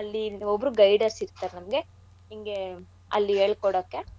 ಅಲ್ಲಿ ಒಬ್ರು guiders ಇರ್ತಾರ್ ನಮ್ಗೆ ಇಂಗೆ ಅಲ್ಲಿ ಏಳ್ಕೊಡಾಕೆ ನಮ್ಗೆ.